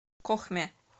кохме